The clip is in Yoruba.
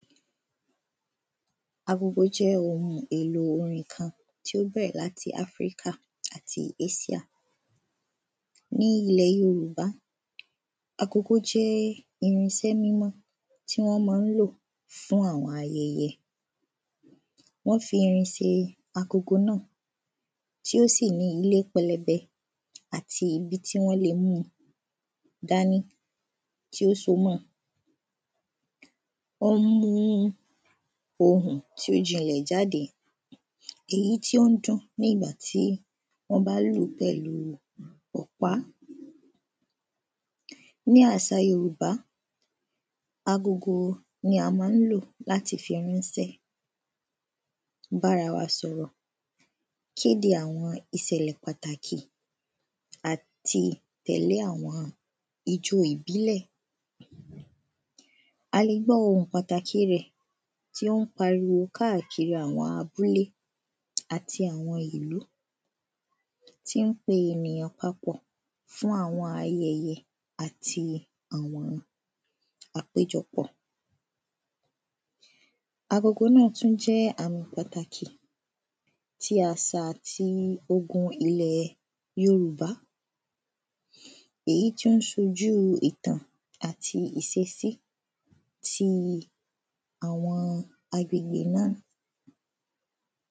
agogo jẹ́ ohun èlò orin kan tó bẹ̀rẹ̀ láti ilẹ̀ áfíríkà àti ásíà ní ilẹ̀ yorùbá agogo jẹ́ irinsẹ́ mímọ̀ tí wọ́n máa ń lò fún àwọn ayẹyẹ wọ́n fi irin ṣe agogo náà tí ó sì ní ilé pẹlẹbẹ àti ibi tí wọ́n lè múu dání tí ó so mọ́ọ ó mú ohùn tí ó jinlẹ̀ jáde èyí tí ó ń dún nígbà tí wọ́n bá lùú pẹ̀lú ọ̀pá ní àsà yorùbá agogo ni a máa ń lò láti fi ránṣẹ́ bárawa sọ̀rọ̀ kéde àwọn ìsẹ̀lẹ̀ pàtàkì àti tẹ̀lé àwọn ijó ìbílẹ̀ a lè gbọ́ ohùn pàtàkì rẹ̀ tí ó ń pariwo kákàkiri àwọn abúlé àti àwọn ìlú tí ń pe ènìyàn papọ̀ fún àwọn ayẹyẹ àti àwọn àpéjọpọ̀ agogo náà tún jẹ́ ǹkan pàtàkì tí àsà àti ogun ilẹ̀ yorùbá èyí tó n sojú ìtàn àti ìsesí ti àwọn agbègbè náà